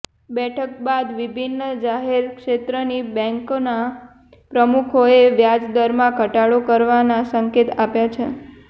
બેઠક બાદ વિભિન્ન જાહેર ક્ષેત્રની બેંકોના પ્રમુખોએ વ્યાજદરમાં ઘટાડો કરવાના સંકેત આપ્યા છે